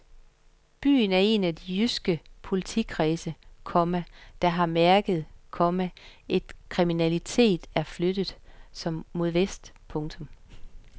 Byen er en af de jyske politikredse, komma der har mærket, komma at kriminaliteten er flyttet mod vest. punktum